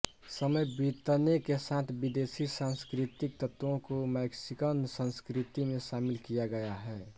समय बीतने के साथ विदेशी सांस्कृतिक तत्वों को मैक्सिकन संस्कृति में शामिल किया गया है